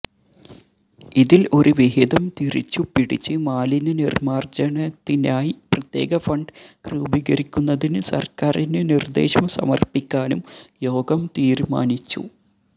ഇതിൽ ഒരു വിഹിതം തിരിച്ചുപിടിച്ച് മാലിന്യനിർമാർജനത്തിനായി പ്രത്യേക ഫണ്ട് രൂപീകരിക്കുന്നതിന് സർക്കാരിന് നിർദേശം സമർപ്പിക്കാനും യോഗം തീരുമാനിച്ചു